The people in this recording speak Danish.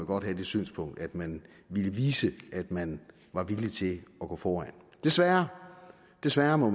godt have det synspunkt at man ville vise at man var villig til at gå foran desværre desværre må